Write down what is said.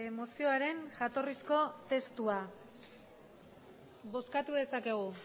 mozioaren jatorrizko testua bozkatu dezakegu